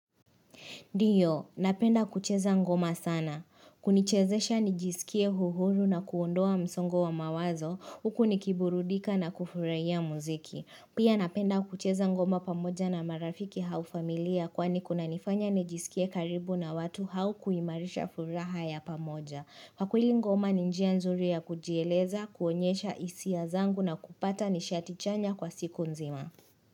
Ndio, napenda kucheza ngoma sana. Kunichezesha nijisikie uhuru na kuondoa msongo wa mawazo, huku nikiburudika na kufurahia muziki. Pia napenda kucheza ngoma pamoja na marafiki au familia kwani kunanifanya nijisikie karibu na watu au kuimarisha furaha ya pamoja. Kwa kweli ngoma ni njia nzuri ya kujieleza, kuonyesha hisia zangu na kupata nishati chanya kwa siku nzima.